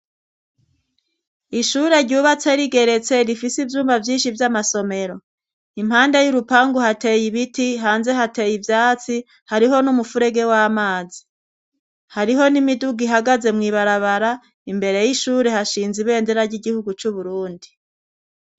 Ishure ryubatse rigeretse rifise iyumba vyinshi vy'amasomero impande y'urupangu hateye ibiti hanze hateye ibyatsi hariho n'umufurege w'amazi hariho n'imidugu ihagaze mu ibarabara imbere y'ishure hashinze ibendera ry'igihugu c'uburundi.